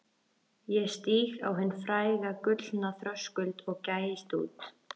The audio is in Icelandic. Ég stíg á hinn fræga gullna þröskuld og gægist út.